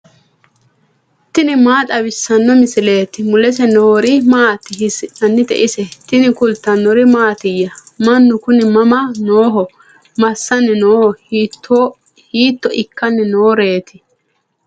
tini maa xawissanno misileeti ? mulese noori maati ? hiissinannite ise ? tini kultannori mattiya? Mannu kunni mama nooho? masani noo? hiitto ikkanni nooreetti?